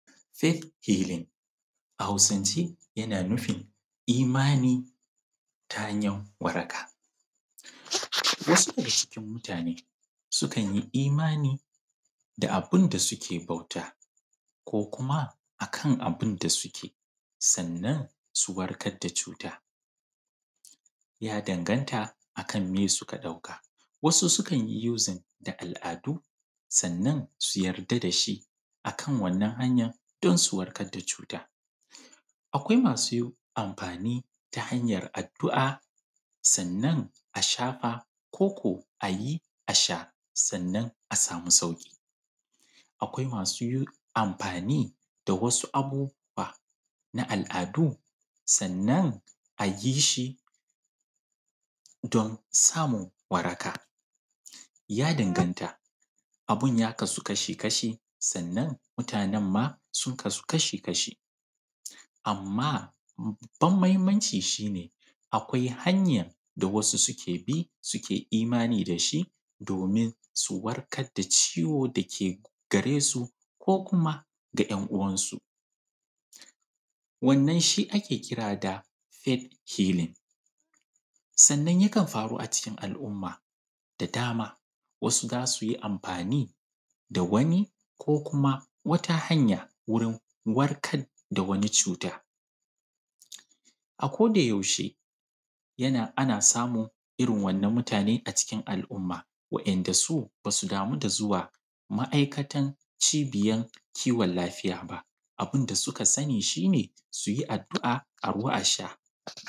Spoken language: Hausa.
Faith healing a Hausance yana nufin imani ta hanyan waraka wasu daga cikin mutane suna imani da abun da suke bauta ko kuma akan abun da suke sannan su warkar da cuta ya danganta akan abun da suka ɗauka wasu sukan yi amfani da al’ada sannan su yarda da shi akan wannan hanyan don su warakar da cuta. Akwai masu amfani da hanyar addu’a sannan a shafa ko a yi a sha sannan a samu sauki akwai masu amfani da wasu abubuwa na al’adu, sannan a yi shi don samun waraka ya danganta abun ya kasu kasha-kashi sannan mutane ma sun kasu kasha-kashi. Amma babban muhimmanci shi ne akwai hanya da wasu suke bi suke imani da shi domin su warkar da ciwo da ke gare su ko kuma ga ‘yan uwan su wannan shi ake kira da faith healing, sannan yakan faru a cikin al’umma da dama wasu za su yi amfani da wata hanya wurin warkar da wani cuta. Akodayaushe ana samun irin wannan mutane a cikin al’umma waɗanda su ba su damu da zuwa cibiyan duba lafiya ba abun da suka sani shi ne a yi addu’a a ruwa su sha.